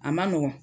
A ma nɔgɔn